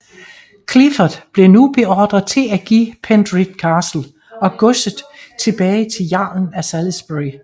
Clifford blev nu beordret til at give Penrith Castle og godset tilbage til jarlen af Salisbury